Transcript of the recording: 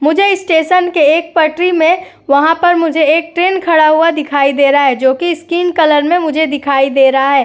मुझे स्टेशन के एक पटरी में वहां पर मुझे एक ट्रेन खड़ा हुआ दिखाई दे रहा है जोकि स्किन कलर में मुझे दिखाई दे रहा है।